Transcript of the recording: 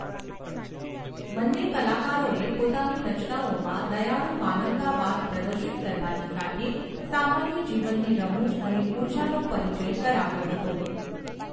બંને કલાકારોએ પોતાની રચનાઓમાં દયાળુ માનવતાવાદ પ્રદર્શિત કરવાની સાથે સામાન્ય જીવનની રમૂજ અને ઊર્જાનો પરિચય કરાવ્યો હતો.